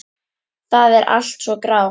Það er allt svo grátt.